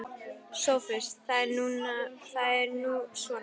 SOPHUS: Það er nú svona.